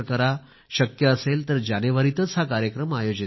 शक्य असेल तर जानेवारीतच हा कार्यक्रम आयोजित करा